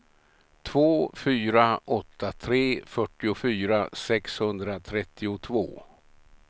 två fyra åtta tre fyrtiofyra sexhundratrettiotvå